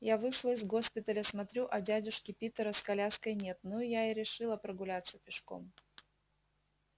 я вышла из госпиталя смотрю а дядюшки питера с коляской нет ну я и решила прогуляться пешком